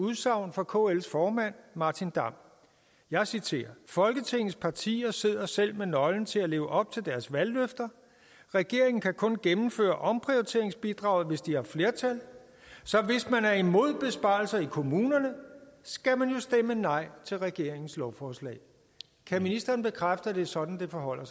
udsagn fra kls formand martin damm jeg citerer folketingets partier sidder selv med nøglen til at leve op til deres valgløfter regeringen kan kun gennemføre omprioriteringsbidraget hvis de har flertal så hvis man er imod besparelser i kommunerne skal man jo stemme nej til regeringens lovforslag kan ministeren bekræfte at det er sådan det forholder